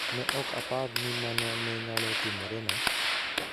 Ne ok apar ni mano ne nyalo timorena".